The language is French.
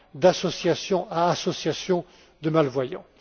d'association à association de malvoyants.